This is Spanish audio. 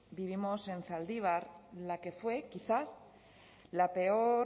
vivimos en zaldibar la que fue quizá la peor